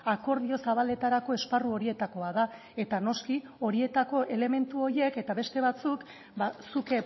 akordio zabaletarako esparru horietakoa da eta noski horietako elementu horiek eta beste batzuk zuk